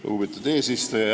Lugupeetud eesistuja!